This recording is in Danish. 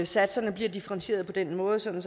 satserne bliver differentieret på den måde sådan